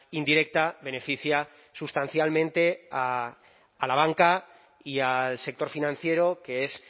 indirecta beneficia sustancialmente a la banca y al sector financiero que es